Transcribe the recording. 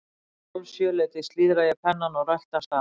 Um hálf sjö leytið slíðra ég pennann og rölti af stað.